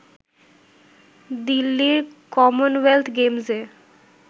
দিল্লির কমনওয়েলথ গেমস-এ